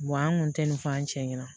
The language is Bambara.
an kun tɛ nin fɔ an cɛ ɲɛna